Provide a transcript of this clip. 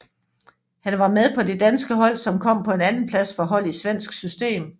Han var med på det danske hold som kom på en andenplads for hold i svensk system